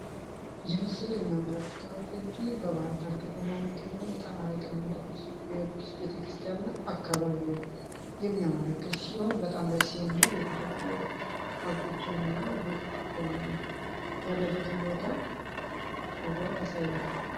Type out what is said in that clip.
የሚያመለከተው እንግዲህ በባህርዳር ከተማ የሚገኘውን የጣና የቅንነት ቤተክርስቲያን እና አካባቢውን የሚያመለከት ሲሆን በጣም ደስ የሚል የተፈጥሮና ቤተክርስቲያኑ ያለበትን ቦታ አስውቦ ያሳያል